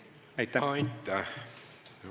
Aitäh!